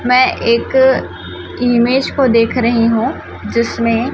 मैं एक इमेज को देख रही हूं जिसमें--